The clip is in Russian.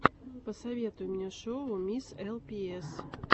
посоветуй мне шоу мисс элпиэс